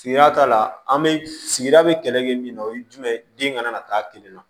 Sigida ta la an bɛ sigida bɛ kɛlɛ kɛ min na o ye jumɛn ye den kana na taa kelen na